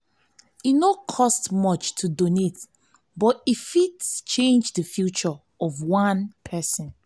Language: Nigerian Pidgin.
e no cost much to donate but e fit change the future of one person.